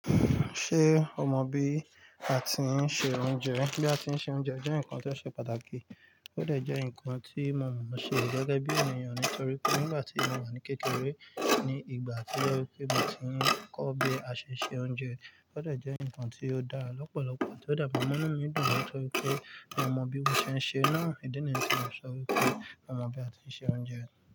Ṣé o mọ bí a ti ń se oúnjẹ? Bí a ti ń se oúnjẹ jẹ́ nǹkan tó ṣe pàtàkì, ó dẹ̀ jẹ́ nǹkan tí mo mọ̀ ọ́n ṣe gẹgẹ bí ènìyàn nítorí pé nígbà tí ènìyàn wà ní kékeré ní ìgbà tí ó yẹ pé ìgbà tí ń kọ́ bí a ṣe se oúnjẹ, ó dẹ̀ jẹ́ nǹkan tí ó dára lọ́pọ̀lọpọ̀ tí ó de mọ́núù mi dun, nítorí pé mi ò mọ bí ó ṣe ń ṣe náà. Ìdí nìyí tí mò ń sọ wípé mi ò mọ̀ bí a ti ń se oúnjẹ.